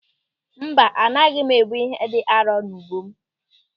Mba, anaghị m ebu ihe dị arọ n'ubu m.